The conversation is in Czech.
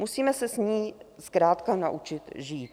Musíme se s ní zkrátka naučit žít.